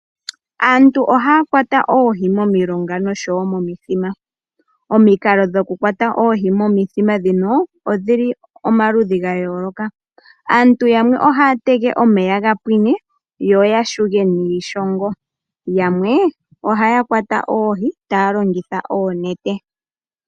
Aantu ohaya kwata oohi momilonga noshowo momithima. Omikalo dhoku kwata oohi momithima dhino odhili omaludhi ga yoloka, aantu yamwe ohaya tege omeya gapwine yo yashuge niishongo noyamwe ohaya kwata oohi taya longitha oonete.